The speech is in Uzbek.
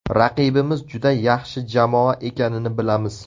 Raqibimiz juda yaxshi jamoa ekanini bilamiz.